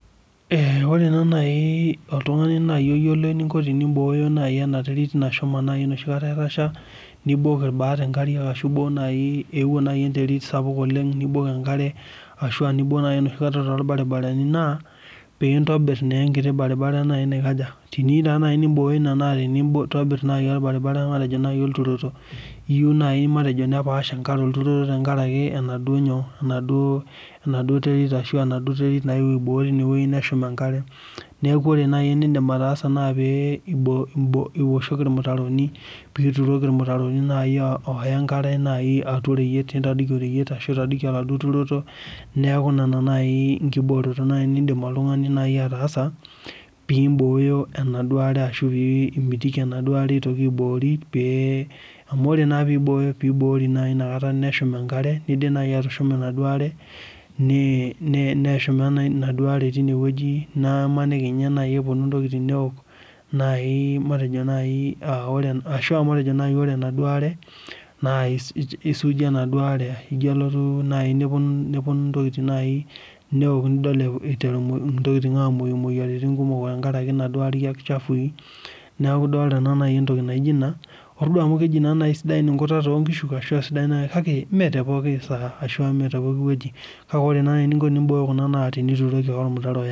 Ore naa naji oltungani oyiolo eninko tenibooyo naaji ena terit. musho. naaji enoshi kata etasha, nibok inkariak naai, eewuo naaji enterit sapuk oleng, nibok enkare ashua nibok naaji enoshi kata toolbaribarani naa, pee intobir naa enkiti barabara, naikaja, teniyieu taa naji neibooyo iina olbaribara, matejo naaji enturoto. matejo duo naaji nepaash enkare olbaribara, tenkaraki enaduoo nyoo, ashu enaduo terit nayewuo aibooyo time wueji neshum enkare. newku ore naaji enidim ataasa pee ioshoki ilmutaroni. pee ituroki ilmutaroni nai oota enkare atua oreyiet ashu intadoiki oladuo turoto. neeku Nena nkiboorot nias. nidim naaji atushuma enaduo are, neshuma Ina are tine wueji, naamaniki ninye naji epuonu ntokitin neok Ashu a matejo ore enaduoo are isuuji, teneoki ntokitin niterei aok